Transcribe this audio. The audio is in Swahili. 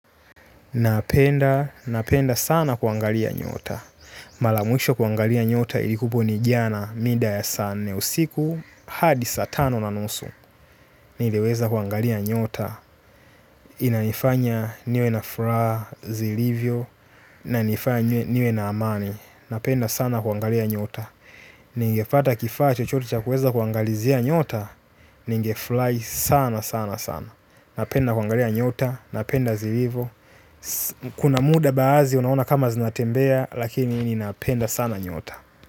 Napenda sana kuangalia nyota. Malamwisho kuangalia nyota ilikuepo ni jana mida ya saa nne usiku hadi saa tano na nusu. Nileweza kuangalia nyota. Inanifanya niwe na furaha zilivyo na nifanywe niwe na amani. Napenda sana kuangalia nyota. Ningefata kifaa chochote chakuweza kuangalizia nyota. Ningefly sana sana sana. Napenda kuangalia nyota. Napenda zilivo. Kuna muda baazi unaona kama zinatembea. Lakini ninaapenda sana nyota.